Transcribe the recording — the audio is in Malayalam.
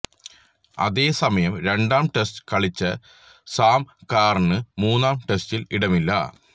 അതേ സമയം രണ്ടാം ടെസ്റ്റ് കളിച്ച സാം കറാന് മൂന്നാം ടെസ്റ്റില് ഇടമില്ല